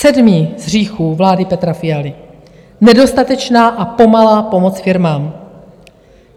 Sedmý z hříchů vlády Petra Fialy - nedostatečná a pomalá pomoc firmám.